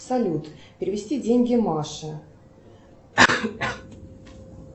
салют перевести деньги маше